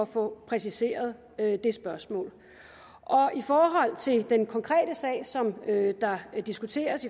få præciseret det spørgsmål i forhold til den konkrete sag som der diskuteres